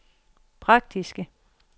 praktiske